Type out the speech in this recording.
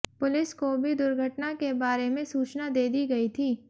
police को भी दुर्घटना के बारे में सूचना दे दी गई थी